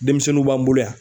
Denmisɛnninw b'an bolo yan.